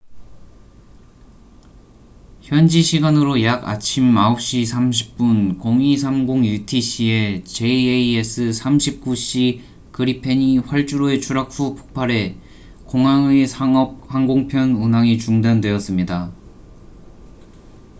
현지 시간으로 약 아침 9시 30분0230 utc에 jas 39c 그리펜이 활주로에 추락 후 폭발해 공항의 상업 항공편 운항이 중단되었습니다